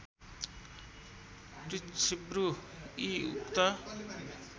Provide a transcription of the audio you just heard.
पृच्छिब्रू इ उक्त